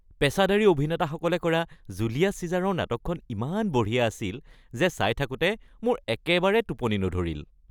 পেচাদাৰী অভিনেতাসকলে কৰা জুলিয়াছ চিজাৰৰ নাটকখন ইমান বঢ়িয়া আছিল যে চাই থাকোঁতে মোৰ একেবাৰে টোপনি নধৰিল।